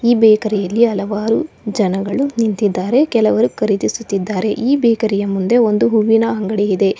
ಈ ಬೇಕರಿ ಯಲ್ಲಿ ಹಲವಾರು ಜನಗಳು ನಿಂತಿದ್ದಾರೆ ಕೆಲವರು ಖರೀದಿಸುತ್ತಿದ್ದಾರೆ ಈ ಬೇಕರಿ ಯ ಮುಂದೆ ಒಂದು ಹೂವಿನ ಅಂಗಡಿ ಇದೆ.